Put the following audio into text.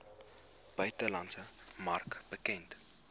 buitelandse mark bekend